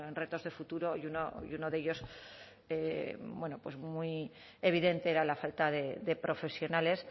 retos de futuro y uno de ellos bueno pues muy evidente era la falta de profesionales